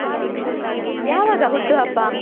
ಯಾವಾಗ ಹುಟ್ಟುಹಬ್ಬ?